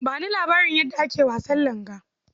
Ba ni labarin yadda ake wasan langa.